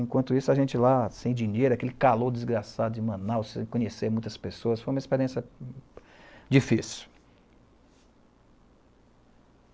Enquanto isso, a gente lá, sem dinheiro, aquele calor desgraçado de Manaus, sem conhecer muitas pessoas, foi uma experiência difícil.